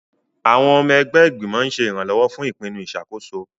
Àwọn ọmọ ẹgbẹ́ ìgbìmọ̀ ń ṣe ìrànlọ́wọ́ fún ìpinnu ìṣàkóso.